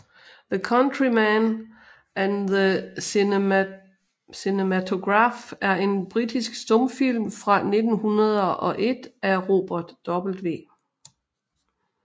The Countryman and the Cinematograph er en britisk stumfilm fra 1901 af Robert W